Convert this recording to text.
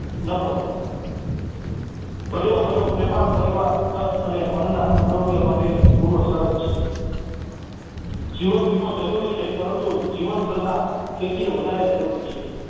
ન પડે. હર્યોભર્યો પ્રેમાળ પરિવાર તન અને મનના આરોગ્ય માટેની પૂર્વ શરત છે જીવનવીમો જરૂરી છે, પરંતુ જીવનશ્રદ્ધા તેથી કરતા વધારે જરૂરી છે